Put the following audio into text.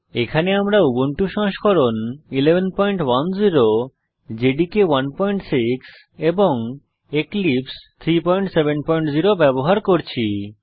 এখানে আমরা উবুন্টু সংস্করণ 1110 জাভা ডেভেলপমেন্ট এনভায়রনমেন্ট জেডিকে 16 এবং এক্লীপ্স 370 ব্যবহার করছি